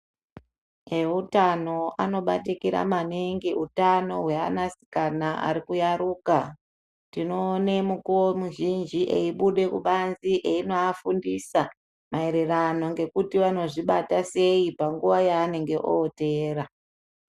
Ewutano anobatikira maningi utano hwe ana asikana ari kuyaruka tinoone mukuwo muzhinji eibuda kubanzi einovafundisa maererano ngekuti vanozvi bata sei panguva yaanenge oteera.